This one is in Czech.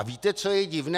A víte, co je divné?